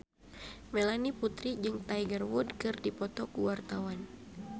Melanie Putri jeung Tiger Wood keur dipoto ku wartawan